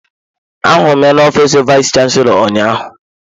Ahụrụ m ya n'ofiis vayis chansilọ ụnyaahụ.